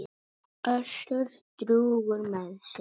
Össur drjúgur með sig.